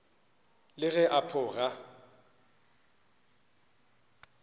le ge a pho ga